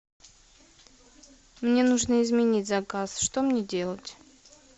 мне нужно изменить заказ что мне делать